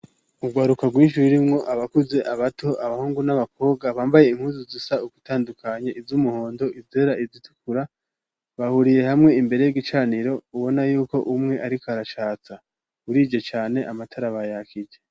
Urwaruka rwinshi rurimwo abakuze, abato, abahungu n'abakobwa bambaye impuzu zisa ugutandukanya iz'umuhondo, izera, izitukura, bahuriye hamwe imbere y'igicaniro ubona yuko umwe ariko aracatsa. Burije cane amatara bayakije.